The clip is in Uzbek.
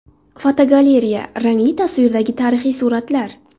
Fotogalereya: Rangli tasvirdagi tarixiy suratlar.